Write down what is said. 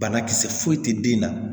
Banakisɛ foyi tɛ den na